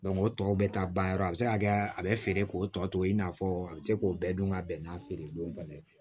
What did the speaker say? o tɔw bɛ taa ban yɔrɔ a bɛ se ka kɛ a bɛ feere k'o tɔ to i n'a fɔ a bɛ se k'o bɛɛ dun ka bɛn n'a feere don ka ye